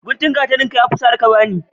Guntun gatarinka yafi tsare ka bani.